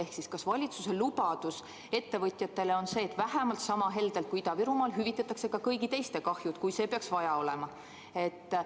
Ehk siis: kas valitsuse lubadus ettevõtjatele on see, et vähemalt sama heldelt kui Ida-Virumaal hüvitatakse ka kõigi teiste kahjud, kui seda peaks vaja olema?